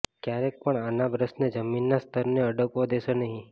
ક્યારેય પણ આના બ્રશને જમીનના સ્તરને અડકવા દેશો નહિ